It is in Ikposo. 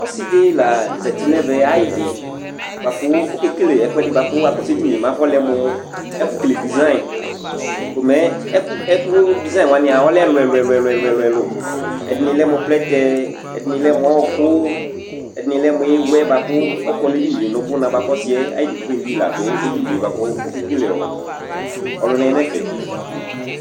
Ɔsiɖi la zɛti ŋu ɛvɛ ayʋɖi Ɔkewele ɛkʋɛɖi bʋakʋ akɔsu ɛɖìní mɛ afɔlɛmu ɛfu kele design Design waŋi lɛ ɛlu ɛlu ɛlu Ɛɖìní lɛmu plɛtɛ Ɛɖìní lɛmu ɔku Ɛɖìní lɛmu iwɛ bʋakʋ ɔkɔ ŋu ɛɖìní ŋu ubʋna